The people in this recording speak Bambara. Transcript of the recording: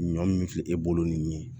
Ɲɔ min filɛ e bolo nin ye